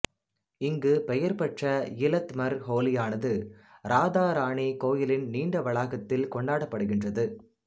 இங்கு பெயர்பெற்ற இலத் மர் ஹோலியானது ராதா ராணி கோவிலின் நீண்ட வளாகத்தில் கொண்டாடப்படுகின்றது